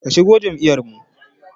Ki shigo jam'iyar mu!